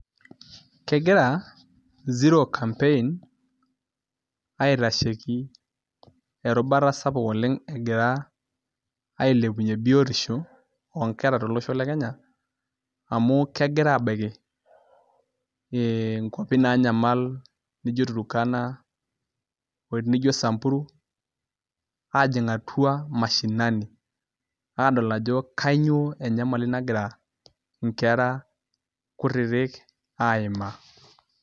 Kegira zero campaign, aitasheki erubata sapuk oleng egira ailepunye biotisho onkera tolosho le Kenya, amu kegira abaiki inkwapi nanyamal nijo Turkana, nijo Samburu, ajing' atua mashinani, adol ajo kanyioo enyamali nagira inkera kutitik aimaa.